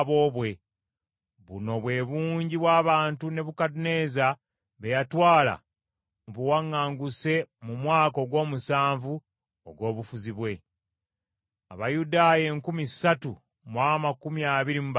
Buno bwe bungi bw’abantu Nebukadduneeza be yatwala mu buwaŋŋanguse: mu mwaka ogw’omusanvu ogw’obufuzi bwe: Abayudaaya enkumi ssatu mu amakumi abiri mu basatu;